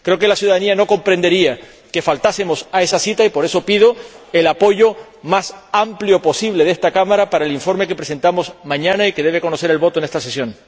Creo que la ciudadanía no comprendería que faltásemos a esa cita, y por eso pido el apoyo más amplio posible de esta Cámara para el informe que presentamos mañana y que debe votarse en esta sesión.